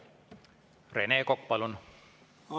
Rene Kokk, palun!